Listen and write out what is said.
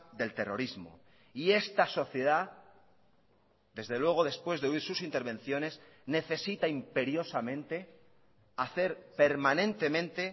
del terrorismo y esta sociedad desde luego después de oír sus intervenciones necesita imperiosamente hacer permanentemente